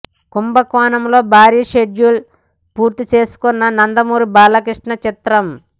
కుంభకోణంలో భారీ షెడ్యూల్ పూర్తి చేసుకొన్న నందమూరి బాలకృష్ణ చిత్రం